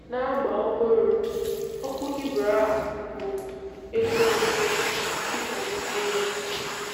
N'agba ọhụrụ, okwu Hibru a bụ"ekwensu" dịka n'ime ya.